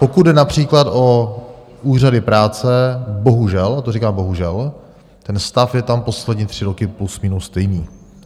Pokud jde například o úřady práce, bohužel - to říkám bohužel - ten stav je tam poslední tři roky plus minus stejný.